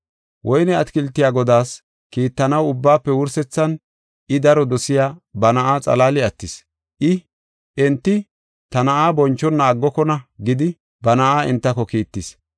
“Woyne atakiltiya godaas kiittanaw ubbaafe wursethan I daro dosiya ba na7aa xalaali attis. I, ‘Enti ta na7aa bonchona aggokona’ gidi, ba na7aa entako kiittis.